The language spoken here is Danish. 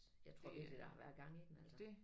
Jeg tror virkelig der har været gang i den altså